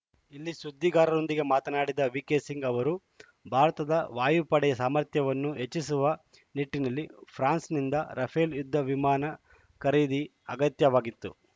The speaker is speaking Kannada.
ಇಲ್ಲಿ ಸುದ್ದಿಗಾರರೊಂದಿಗೆ ಮಾತನಾಡಿದ ವಿಕೆ ಸಿಂಗ್‌ ಅವರು ಭಾರತದ ವಾಯುಪಡೆ ಸಾಮರ್ಥ್ಯವನ್ನು ಹೆಚ್ಚಿಸುವ ನಿಟ್ಟಿನಲ್ಲಿ ಫ್ರಾನ್ಸ್‌ನಿಂದ ರಫೇಲ್‌ ಯುದ್ಧ ವಿಮಾನ ಖರೀದಿ ಅತ್ಯಗತ್ಯವಾಗಿತ್ತು